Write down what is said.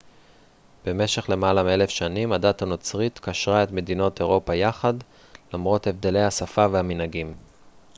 במשך למעלה מאלף שנים הדת הנוצרית קשרה את מדינות אירופה יחד למרות הבדלי השפה והמנהגים